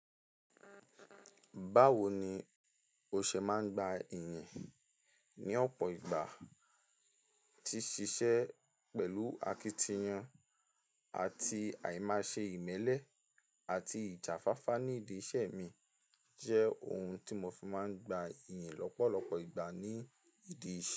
Báwo ni o ṣe máa ń gba ìyìn ní ọ̀pọ̀ ìgbà tí ṣiṣẹ́ pẹ̀lú akitiyan àti àìmáṣe ìmẹ́lẹ́ àti ìjà fáfá ní ìdí iṣẹ́ mi jẹ́ ohun tí mo fi máa ń gba ìyìn lọ́pọ̀lọpọ̀ ìgbà ní ìdí iṣẹ́.